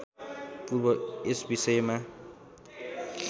पूर्व यस विषयमा